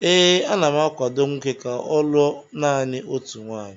ee, ana m akwado nwoke ka ọ lụọ naanị otu nwunye